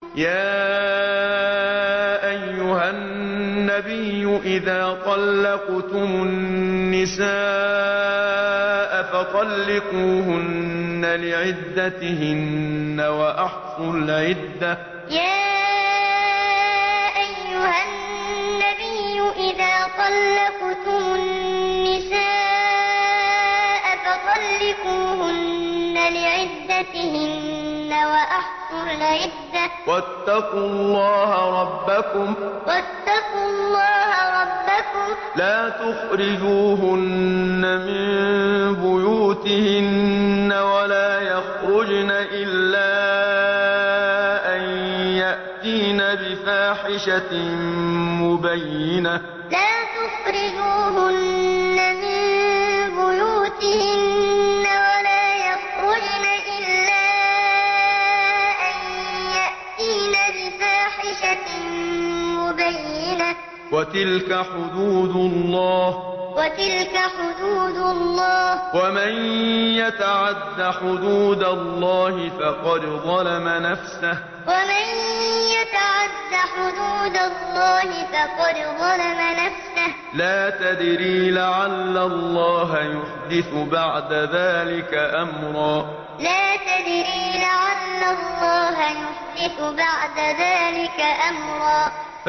يَا أَيُّهَا النَّبِيُّ إِذَا طَلَّقْتُمُ النِّسَاءَ فَطَلِّقُوهُنَّ لِعِدَّتِهِنَّ وَأَحْصُوا الْعِدَّةَ ۖ وَاتَّقُوا اللَّهَ رَبَّكُمْ ۖ لَا تُخْرِجُوهُنَّ مِن بُيُوتِهِنَّ وَلَا يَخْرُجْنَ إِلَّا أَن يَأْتِينَ بِفَاحِشَةٍ مُّبَيِّنَةٍ ۚ وَتِلْكَ حُدُودُ اللَّهِ ۚ وَمَن يَتَعَدَّ حُدُودَ اللَّهِ فَقَدْ ظَلَمَ نَفْسَهُ ۚ لَا تَدْرِي لَعَلَّ اللَّهَ يُحْدِثُ بَعْدَ ذَٰلِكَ أَمْرًا يَا أَيُّهَا النَّبِيُّ إِذَا طَلَّقْتُمُ النِّسَاءَ فَطَلِّقُوهُنَّ لِعِدَّتِهِنَّ وَأَحْصُوا الْعِدَّةَ ۖ وَاتَّقُوا اللَّهَ رَبَّكُمْ ۖ لَا تُخْرِجُوهُنَّ مِن بُيُوتِهِنَّ وَلَا يَخْرُجْنَ إِلَّا أَن يَأْتِينَ بِفَاحِشَةٍ مُّبَيِّنَةٍ ۚ وَتِلْكَ حُدُودُ اللَّهِ ۚ وَمَن يَتَعَدَّ حُدُودَ اللَّهِ فَقَدْ ظَلَمَ نَفْسَهُ ۚ لَا تَدْرِي لَعَلَّ اللَّهَ يُحْدِثُ بَعْدَ ذَٰلِكَ أَمْرًا